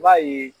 I b'a ye